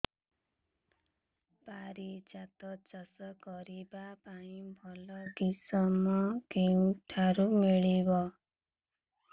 ପାରିଜାତ ଚାଷ କରିବା ପାଇଁ ଭଲ କିଶମ କେଉଁଠାରୁ ମିଳିବ